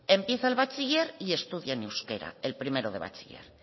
empieza el bachiller y estudia en euskera el primero de bachiller